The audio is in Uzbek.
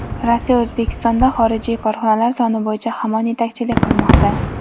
Rossiya O‘zbekistonda xorijiy korxonalar soni bo‘yicha hamon yetakchilik qilmoqda.